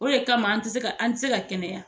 O de kama an ti se an ti se ka kɛnɛya.